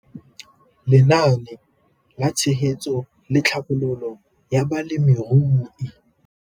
Lenaane la Tshegetso le Tlhabololo ya Balemirui.